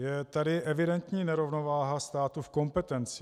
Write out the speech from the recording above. Je tady evidentní nerovnováha státu v kompetencích.